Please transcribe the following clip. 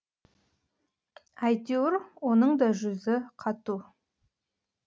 әйтеуір оның да жүзі қату